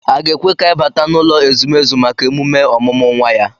A ga-ekwe ka anyị bata n'ụlọ ezumezu maka emume ọmụmụ nwa ya